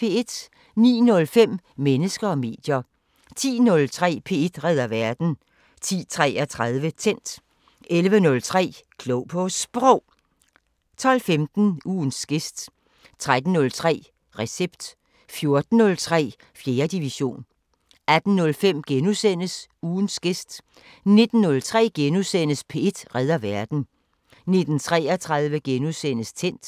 09:05: Mennesker og medier 10:03: P1 redder verden 10:33: Tændt 11:03: Klog på Sprog 12:15: Ugens gæst 13:03: Recept 14:03: 4. division 18:05: Ugens gæst * 19:03: P1 redder verden * 19:33: Tændt *